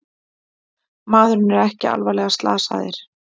Maðurinn er ekki alvarlega slasaðir